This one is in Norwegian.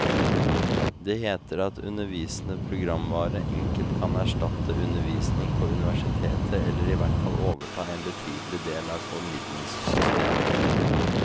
Det heter at undervisende programvare enkelt kan erstatte undervisning på universiteter eller ihvertfall overta en betydelig del av formidlingssystemet.